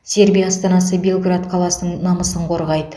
сербия астанасы белград қаласының намысын қорғайды